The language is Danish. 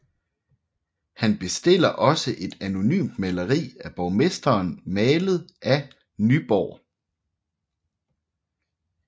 Han bestiller også et anonymt maleri af borgmesteren malet af Nyborg